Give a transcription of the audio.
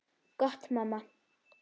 Gott mamma.